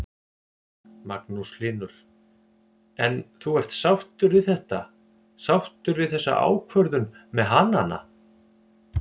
Magnús Hlynur: En þú ert sáttur þetta, sáttur við þessa ákvörðun með hanana?